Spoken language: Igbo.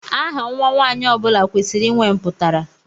Aha Nwa nwanyị ọbula kwesịrị ịnwe mputara.